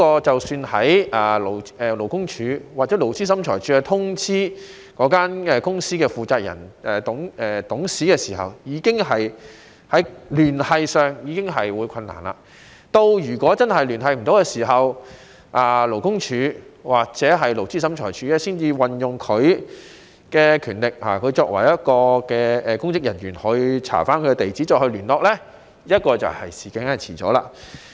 即使在勞工處或勞資審裁處通知那間公司的負責人或董事時，在聯繫上已有困難，如果真的聯繫不上，勞工處或勞資審裁處才會運用他們作為公職人員的權力查找其地址再行聯絡，但這樣已經遲了。